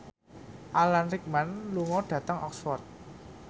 Alan Rickman lunga dhateng Oxford